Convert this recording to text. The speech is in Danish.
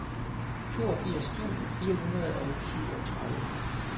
toogfirs tusind fire hundrede og syvogtredive